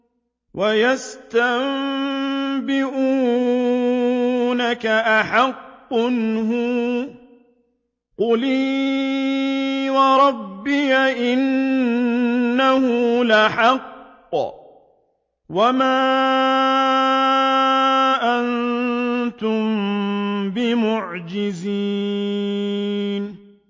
۞ وَيَسْتَنبِئُونَكَ أَحَقٌّ هُوَ ۖ قُلْ إِي وَرَبِّي إِنَّهُ لَحَقٌّ ۖ وَمَا أَنتُم بِمُعْجِزِينَ